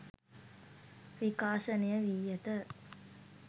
විකාශනය වී ඇත